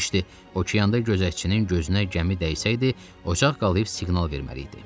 İşte okeanda gözətçinin gözünə gəmi dəysəydi, ocaq qalıyıb siqnal verməli idi.